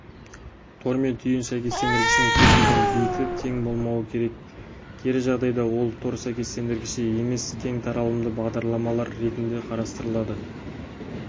тор мен түйін сәйкестендіргішінің кез келген биті тең болмауы керек кері жағдайда ол тор сәйкестендіргіші емес кең таралымды бағдарламалар ретінде қарастырылады